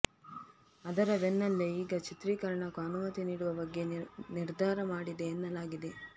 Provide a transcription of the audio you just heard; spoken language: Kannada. ಅದರ ಬೆನ್ನಲ್ಲೇ ಈಗ ಚಿತ್ರೀಕರಣಕ್ಕೂ ಅನುಮತಿ ನೀಡುವ ಬಗ್ಗೆ ನಿರ್ಧಾರ ಮಾಡಿದೆ ಎನ್ನಲಾಗಿದೆ